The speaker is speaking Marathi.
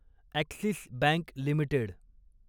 axis bank limited